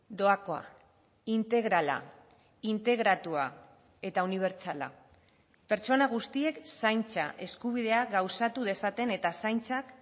doakoa integrala integratua eta unibertsala pertsona guztiek zaintza eskubidea gauzatu dezaten eta zaintzak